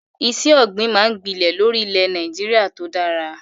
Iṣẹ́ ọ̀gbìn máa ń gbilẹ̀ lórí ilẹ̀ Nàìjíríà tó dára.